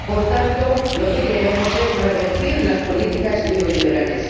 Por tanto, lo que queremos es revertir las políticas neoliberales